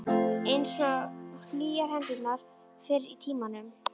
Einsog hlýjar hendurnar fyrr í tímanum.